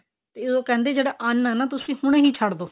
ਉਦੋੰ ਕਹਿੰਦੇ ਜਿਹੜਾ ਅੰਨ ਆ ਨਾ ਤੁਸੀਂ ਹੁਣੇ ਹੀ ਛੱਡ ਦੋ